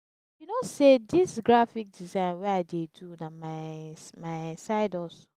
you know sey dis graphic design wey i dey do na my my side hustle.